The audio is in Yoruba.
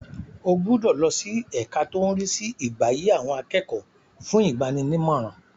O gbúdọ̀ lọ sí ẹka tó ń rí sí ìgbáyé àwọn akẹ́kọ̀ọ́ fún ìgbaninímọ̀ràn.